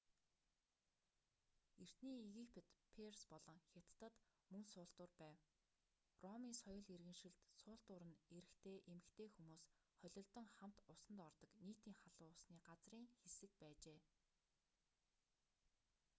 эртний египет перс болон хятадад мөн суултуур байв ромын соёл иргэншилд суултуур нь эрэгтэй эмэгтэй хүмүүс холилдон хамт усанд ордог нийтийн халуун усны газрын хэсэг байжээ